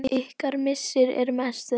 Ykkar missir er mestur.